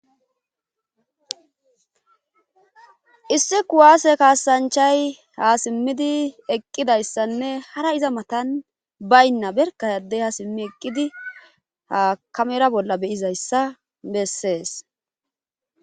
Issi kuwaase kaasanchay ha simmidi eqqidayssanne hara iza matan baynna berkadey ha simmi eqqidi hakamera bolla beyizayssa bessees